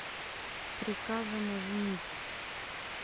приказано женить